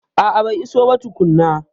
A'a bai iso ba tukuna